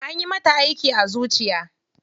Anyi mata aiki a zuciya.